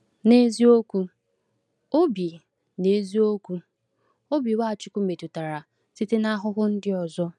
N’eziokwu, obi N’eziokwu, obi Nwachukwu metụtara site n’ahụhụ ndị ọzọ.